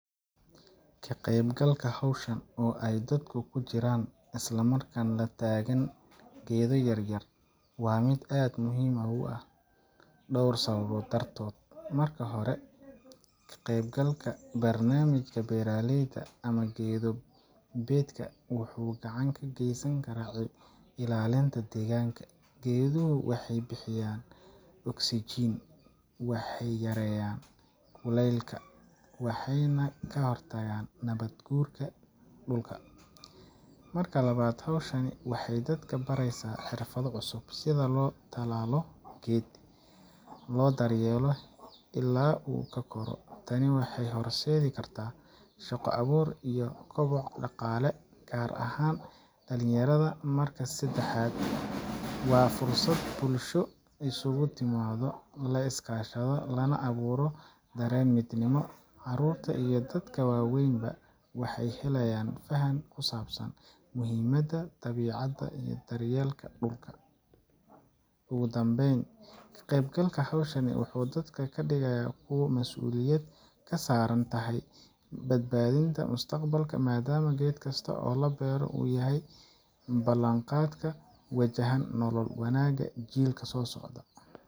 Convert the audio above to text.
Ka qaybgalka hawshan, oo ay dadku ku jiraan isla markaana la taagan geedo yaryar, waa mid aad muhiim u ah dhowr sababood dartood. Marka hore, ka qaybgalka barnaamijka beeraleyda ama geedo beedka wuxuu gacan ka geysanayaa ilaalinta deegaanka. Geeduhu waxay bixiyaan oksijiin, waxay yareeyaan kuleylka, waxayna ka hortagaan nabaad guurka dhulka. Marka labaad, hawshani waxay dadka baraysaa xirfado cusub sida loo tallaalo geed, loo daryeelo ilaa uu ka koro. Tani waxay horseedi kartaa shaqo abuur iyo koboc dhaqaale, gaar ahaan dhallinyarada. Marka saddexaad, waa fursad bulsho isugu timaado, la iskaashado, lana abuuro dareen midnimo. Carruurta iyo dadka waaweynba waxay helayaan fahan ku saabsan muhiimada dabiicadda iyo daryeelka dhulka. Ugu dambayn, ka qaybgalka hawshan wuxuu dadka ka dhigaa kuwo mas’uuliyad ka saaran tahay badbaadinta mustaqbalka, maadaama geed kasta oo la beero uu yahay ballan-qaad ku wajahan nolol wanaagsan oo jiilka soo socda.